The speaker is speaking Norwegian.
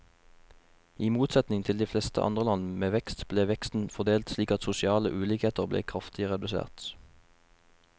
I motsetning til de fleste andre land med vekst, ble veksten fordelt slik at sosiale ulikheter ble kraftig redusert.